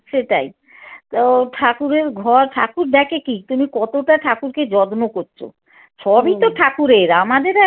সেটাই তো ঠাকুরের ঘর ঠাকুর দেখে কী তুমি কতটা ঠাকুরকে যত্ন করছো সবই তো ঠাকুরের আমাদের আর